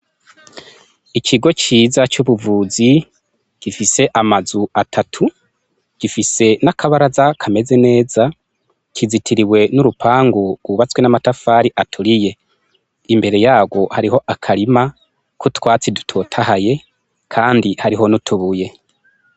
Ikigo ciza c'ubuvuzi gifise amazu atatu gifise n'akabara z'a kameze neza kizitiriwe n'urupangu wubatswe n'amatafari aturiye imbere yarwo hariho akarima k'utwatsi dutotahaye, kandi hariho nutubuye.